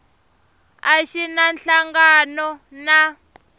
a xi na nhlangano na